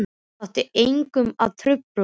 Það átti enginn að trufla okkur.